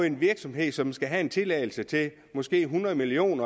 en virksomhed som skal have en tilladelse til måske hundrede million